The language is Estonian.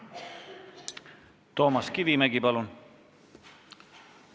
Toomas Kivimägi, palun!